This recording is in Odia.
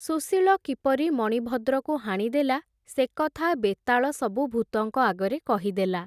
ସୁଶୀଳ କିପରି ମଣିଭଦ୍ରକୁ ହାଣିଦେଲା, ସେକଥା ବେତାଳ ସବୁ ଭୂତଙ୍କ ଆଗରେ କହିଦେଲା ।